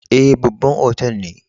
Eh, babban otal ne.